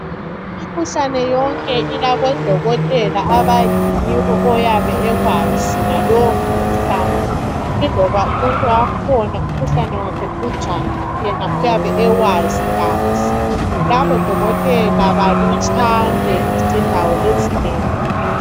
Imikhuhlane yonke ilabodokotela abayaziyo iloba umkhuhlane wakhona uyabe unjani yena uyabe ewazi kahle. Labodokotela balutshwane izindawo ezinengi.